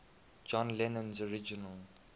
john lennon's original